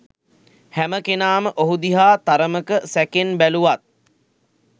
හැමකෙනාම ඔහු දිහා තරමක සැකෙන් බැලුවත්